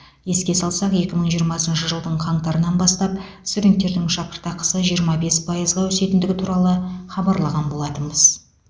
еске салсақ екі мың жиырмасыншы жылдың қаңтарынан бастап студенттердің шәкірақысы жиырма бес пайызға өсетіндігі туралы хабарлаған болатынбыз